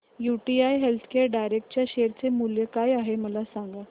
UTI healthcare direct च्या share चे मूल्य काय आहे मला सांगा